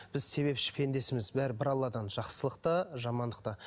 біз себепші пендесіміз бәрі бір алладан жақсылық та жамандық та